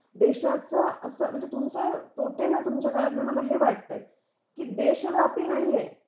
देशाच अस म्हणजे तुमच तोटेना तुमच्या काळातले मला हे वाटत आहे की देशव्यापी नाही आहे